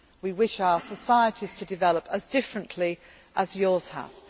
countries we wish our societies to develop as differently